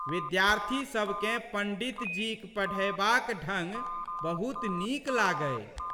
विद्यार्थी सबकेँ पंड़ितजीक पढ़यबाक ढंग बहुत नीक लागै।